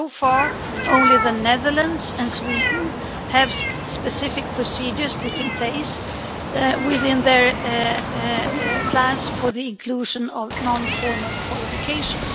So far only the Netherlands and Sweden have specific procedures put in place within their plans for the inclusion of non formal qualifications.